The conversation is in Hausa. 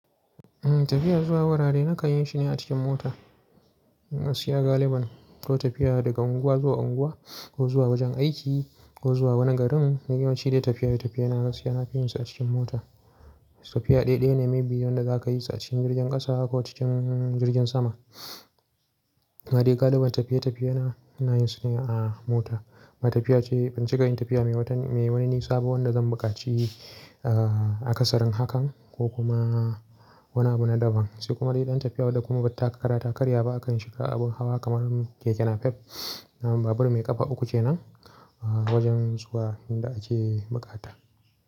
Eh tafiya zuwa wurare nakan yi shi ne a cikin mota. Na siya galiban ko tafiya daga unguwa zuwa unguwa ko zuwa wajen aiki ko zuwa wani garin, dayawan ci da tafiya da tafiya na gasiya nafi yin su a cikin mota. Tafiya ɗaya ne mai biyu da za ka yi ta cikin jirgin ƙasa ko cikin jirgin sama. Ma dai galiban tafiye-tafiyena ina yin su ne a mota. Ma tafiya ce, ban cika yin tafiya mai wani nisa fa wanda zan buƙaci a ƙasarin hakan ko kuma wani abu na daban. Sai kuma dai ɗan tafiya wadda kuma ba takara-takarya ba akan shiga abun hawa kamar keke napep. Babur mai ƙafa uku ce nan wajen zuwa inda ake buƙata.